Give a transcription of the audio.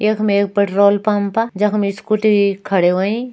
यख मा एक पेट्रोल पम्पा जख मा स्कूटी खड़ी होईं।